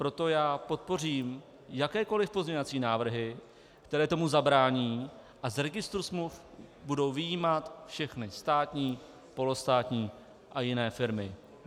Proto já podpořím jakékoliv pozměňovací návrhy, které tomu zabrání a z registru smluv budou vyjímat všechny státní, polostátní a jiné firmy.